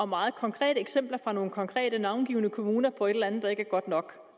meget konkrete eksempler fra nogle konkrete navngivne kommuner på et eller andet der ikke er godt nok